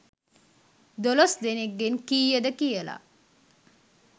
දොළොස්‌ දෙනෙක්‌ගෙන් කීයද කියලා